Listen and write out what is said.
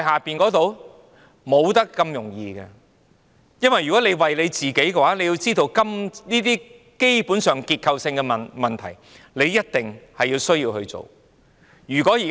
不會這麼容易的，因為如果他為了自己，這些根本上的結構性問題一定要處理。